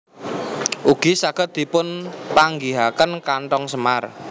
Ugi saged dipun panggihaken kantong semar